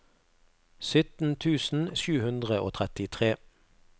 sytten tusen sju hundre og trettitre